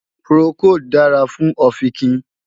Procold dára fún ọ̀fìnkìn